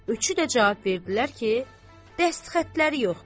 Üçü də cavab verdilər ki, dəstxətləri yoxdur.